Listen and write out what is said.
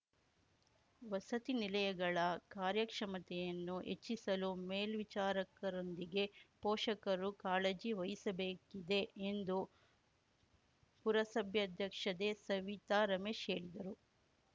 ವಸತಿನಿಲಯಗಳ ಕಾರ್ಯಕ್ಷಮತೆಯನ್ನು ಹೆಚ್ಚಿಸಲು ಮೇಲ್ವಿಚಾರಕರೊಂದಿಗೆ ಪೋಷಕರು ಕಾಳಜಿ ವಹಿಸಬೇಕಿದೆ ಎಂದು ಪುರಸಬ್ಯಾಧ್ಯಕ್ಷದೆ ಸವಿತಾ ರಮೇಶ್‌ ಹೇಳಿದರು